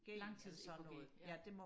langtids EKG ja